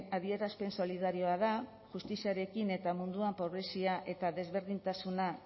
adierazpen solidarioa da justiziarekin eta munduan pobrezia eta desberdintasuna